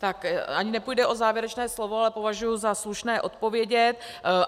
Tak ani nepůjde o závěrečné slovo, ale považuji za slušné odpovědět.